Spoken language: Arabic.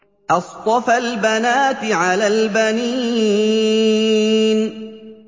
أَصْطَفَى الْبَنَاتِ عَلَى الْبَنِينَ